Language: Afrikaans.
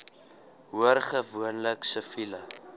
hoor gewoonlik siviele